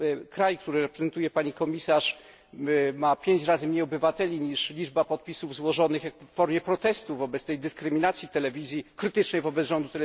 Kraj, który reprezentuje pani komisarz, ma 5 razy mniej obywateli niż liczba podpisów złożonych w formie protestu wobec dyskryminacji TV Trwam, krytycznej wobec rządu.